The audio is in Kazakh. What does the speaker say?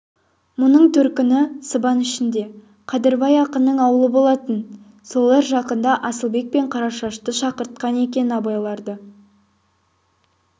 мұның төркіні сыбан ішінде қадырбай ақынның аулы болатын солар жақында асылбек пен қарашашты шақыртқан екен абайларды